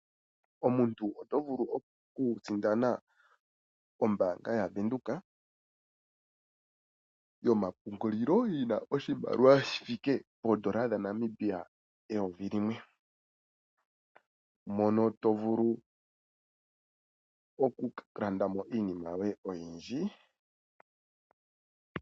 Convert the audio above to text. Omuntu oto vulu oku sindana ombaanga yavenduka yomapungulilo yina oshimaliwa shaNamibia shithike poondola eyovi limwe. Mono to vulu oku landa mo iinima yoye oyindji.